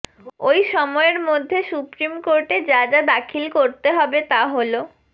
ওই সময়ের মধ্যে সুপ্রিম কোর্টে যা যা দাখিল করতে হবে তা হল